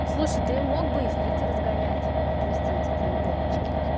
слушай ты мог бы и в питер сгонять отвезти эти треугольнички